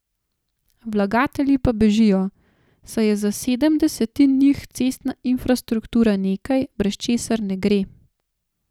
Vlagatelji pa bežijo, saj je za sedem desetin njih cestna infrastruktura nekaj, brez česar ne gre.